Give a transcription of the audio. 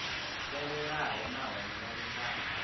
fhelelaho na hone vha lingane